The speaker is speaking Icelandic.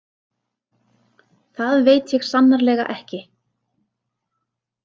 Það veit ég sannarlega ekki